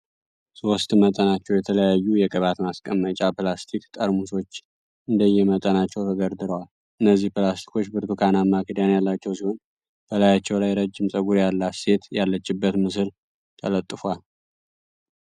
ሶስት በመጠናቸው የተለያዩ የቅባት ማስቀመጫ ፕላስቲክ ጠርሙሶች እንደየ መጠናቸው ተደርድረዋል። እነዚህ ፕላስቲኮች ብርቱካናማ ክዳን ያላቸው ሲሆን በላያቸው ላይ ረጅም ጸጉር ያላት ሴት ያለችበት ምስል ተለጥፏል።